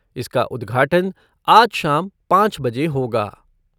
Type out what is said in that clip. इसका उद्घाटन आज शाम पाँच बजे होगा।